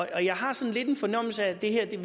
jeg har sådan lidt en fornemmelse af at vi her